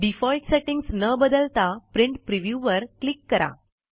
default settings न बदलता print preview वर क्लिक करा